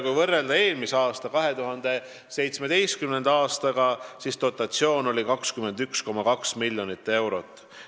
Kui võrrelda eelmise, 2017. aastaga, siis dotatsioon oli 21,2 miljonit eurot.